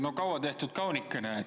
No kaua tehtud kaunikene.